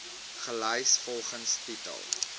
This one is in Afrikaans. gelys volgens titel